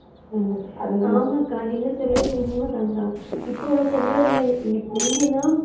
ஹம் ஆமாக்கா நீங்க சொல்றது உண்மைதாங்க இப்போ உள்ள பொம்பளை பிள்ளைங்க முந்தி எல்லாம்